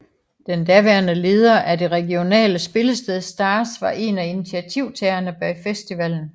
Den daværende leder af det regionale spillested Stars var en af initiativtagerne bag festivalen